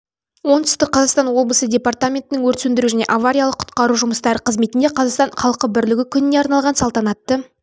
оңтүстік қазақстан облысы департаментінің өрт сөндіру және авариялық-құтқару жұмыстары қызметінде қазақстан халқы бірлігі күніне арналған салтанатты